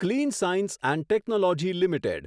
clean Science and Technology limited